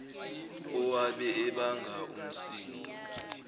owabe ebanga umsindo